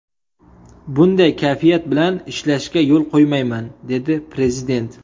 Bunday kayfiyat bilan ishlashga yo‘l qo‘ymayman”, dedi Prezident.